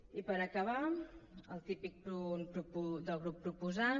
i per acabar el típic punt del grup proposant